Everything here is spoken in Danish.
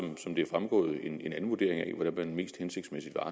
som det er fremgået en anden vurdering af hvordan man mest hensigtsmæssigt